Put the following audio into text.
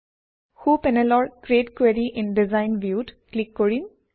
সোঁ পেনেলৰ ক্ৰিএট কোৰী ইন ডিজাইন view ত ক্লিক কৰিম